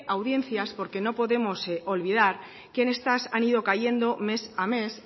audiencias porque no podemos olvidar que estas han ido cayendo mes a mes